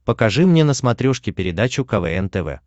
покажи мне на смотрешке передачу квн тв